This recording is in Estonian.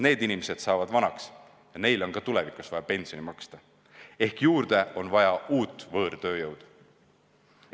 Need inimesed saavad vanaks ja neile on ka tulevikus vaja pensioni maksta ehk juurde on vaja uut võõrtööjõudu.